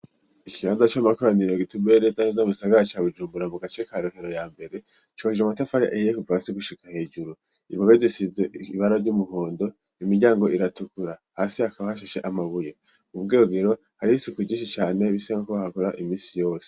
Ikibanza c'amakoraniro gitumbereye neza mu gisagara ca Bujumbura mu gace ka Rohero ya mbere, cubakishije amatafari ahiye kuva hasi gushika hejuru, impome zisize ibara ry'umuhondo, imiryango iratukura, hasi hakaba hashashe amabuye, ku bwogero hari isiku ryinshi cane bisa nkuko bahakora imisi yose.